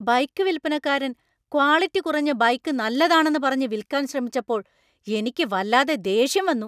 Bike വിൽപനക്കാരൻ quality കുറഞ്ഞ bike നല്ലതാണെന്നു പറഞ്ഞ് വിൽക്കാൻ ശ്രമിച്ചപ്പോൾ എനിക്ക് വല്ലാതെ ദേഷ്യം വന്നു .